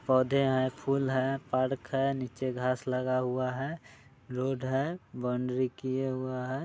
पौधे हैं फूल हैं पार्क है निच्चे घास लगा हुआ है रोड है वॉण्ड्री किये हुआ है।